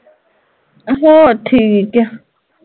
ਹੋਰ ਠੀਕ ਆ